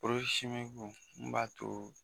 n b'a to